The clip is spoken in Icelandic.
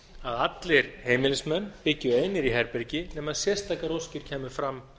að allir heimilismenn byggju einir í herbergi nema sérstakar óskir kæmu fram